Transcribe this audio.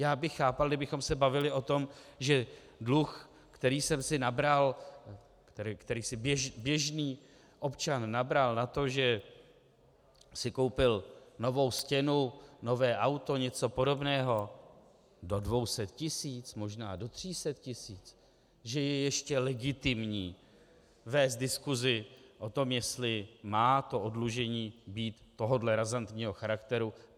Já bych chápal, kdybychom se bavili o tom, že dluh, který jsem si nabral, který si běžný občan nabral na to, že si koupil novou stěnu, nové auto, něco podobného do 200 tisíc, možná do 300 tisíc, že je ještě legitimní vést diskusi o tom, jestli má to oddlužení být tohohle razantního charakteru.